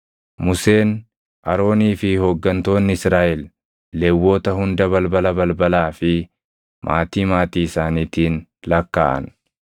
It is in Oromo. Museen, Aroonii fi hooggantoonni Israaʼel Lewwota hunda balbala balbalaa fi maatii maatii isaaniitiin lakkaaʼan.